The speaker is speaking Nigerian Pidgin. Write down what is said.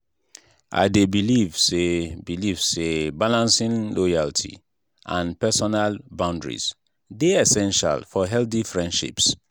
i dey believe say believe say balancing loyalty and personal boundaries dey essential for healthy friendships.